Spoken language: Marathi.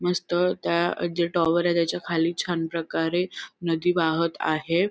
मस्त त्या जे टॉवरय त्याच्याखाली छानप्रकारे नदी वाहत आहे.